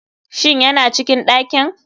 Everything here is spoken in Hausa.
Shin yana cikin ɗakin.